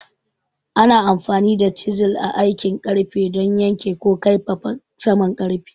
Ana amfani da chisels a aikin ƙarfe don yanke ko kaifafa saman ƙarfe.